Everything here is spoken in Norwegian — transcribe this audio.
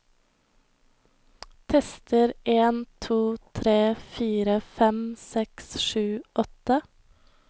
Tester en to tre fire fem seks sju åtte